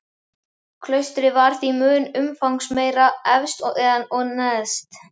Klaustrið var því mun umfangsmeira efst en neðst.